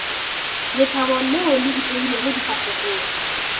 lethabo leo le ipeilego difahlegong